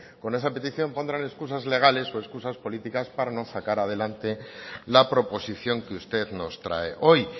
con esa petición pondrán escusas legales o escusas pláticas para no sacar adelante la proposición que usted nos trae hoy